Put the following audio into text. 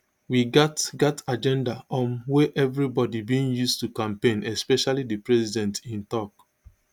we gat gat agenda um wey everibody bin use to campaign especially di president im tok